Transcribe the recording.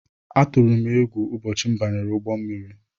Atụrụ m égwu ụbọchị m banyere ụgbọ mmiri.